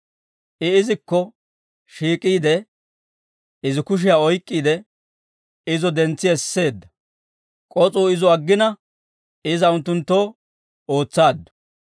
I izikko shiik'iide, izi kushiyaa oyk'k'iide, izo dentsi esseedda; k'os'uu izo aggina, iza unttunttoo ootsaaddu.